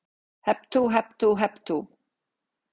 Hep tú, hep tú, hep tú.